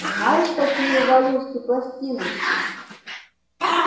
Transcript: знаешь какие у валюшки пластиночки